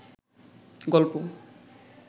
গল্প